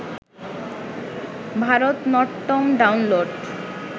Bharatanatyam download